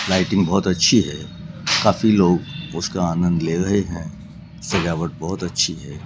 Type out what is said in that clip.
Lighting बहोत अच्छी है काफी लोग उसका आनंद ले रहे हैं सजावट बहोत अच्छी है।